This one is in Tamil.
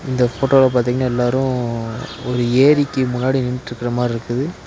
இந்த ஃபோட்டோல பாத்தீங்னா எல்லாரு ஒரு ஏரிக்கு முன்னாடி நின்ட்ருக்கற மார்ருக்குது.